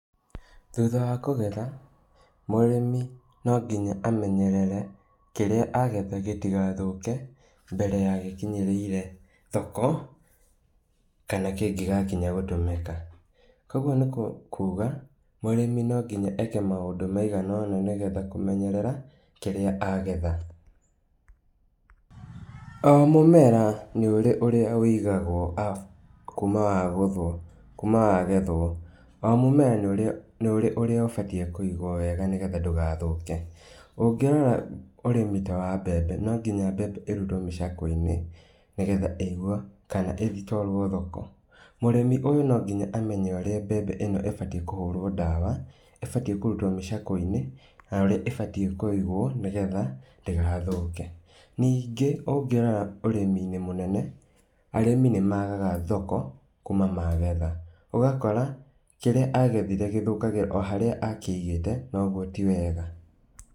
Thutha wa kũgetha, mũrĩmĩ no nginya amenyerere kĩrĩa agetha gĩtigathũke, mbere ya gĩkinyĩrĩire thoko, kana kĩngĩgakinya gũtũmĩka. Koguo nikũ kuga, mũrĩmi nonginya eke maũndũ maigana ũna nĩgetha kũmenyerera kĩrĩa agetha. O mũmera nĩũrĩ ũrĩa wĩigagwo kuma wagũthwo, kuma wagethwo, o mũmera nĩ ũrĩ ũrĩa ũbatie kũigwo wega nĩgetha ndũgathũke, ũngĩrora ũrĩmi ta wa mbembe no nginya mbembe ĩrutwo mĩcakweinĩ nĩgetha ĩigwo kana ĩtwarwo thoko. Mũrĩmi ũyũ no nginya amenye ũrĩa mbembe ĩno ĩbatie kũhũrwo ndawa, ĩbatie kũrutwo mĩcakweinĩ, na ũrĩa ĩbatie kũigwo nĩgetha ndĩgathũke. Ningĩ ũngĩrora ũrĩminĩ mũnene, arĩmi nĩmagaga thoko, kuma magetha, ũgakora kĩrĩa agethire gĩthũkagĩra o harĩa akĩigĩte, na ũguo ti wega.